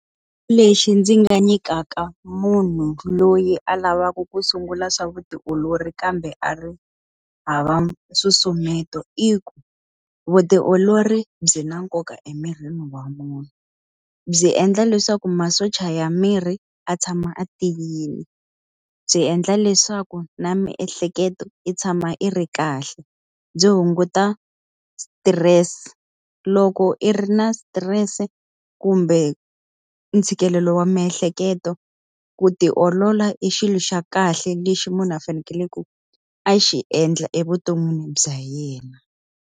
Lexi ndzi nga nyikaka munhu loyi a lavaka ku sungula swa vutiolori kambe a ri hava nsusumeto i ku, vutiolori byi na nkoka emirini wa munhu. Byi endla leswaku masocha ya miri ya tshama a tiyile, byi endla leswaku na miehleketo yi tshama yi ri kahle, byi hunguta stress. Loko i ri na stress-e kumbe ntshikelelo wa miehleketo, ku tiolola i xilo xa kahle lexi munhu a fanekeleke ku a xi endla evuton'wini bya yena.